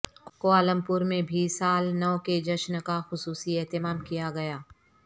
Kuala Lumpur میں بھی سال نو کے جشن کا خصوصی اہتمام کیا گیا